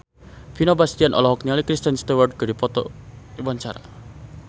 Vino Bastian olohok ningali Kristen Stewart keur diwawancara